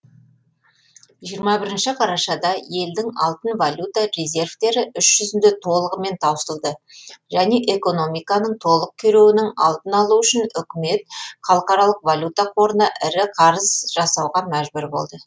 жиырма бірінші қарашада елдің алтын валюта резервтері іс жүзінде толығымен таусылды және экономиканың толық күйреуінің алдын алу үшін үкімет халықаралық валюта қорына ірі қарыз жасауға мәжбүр болды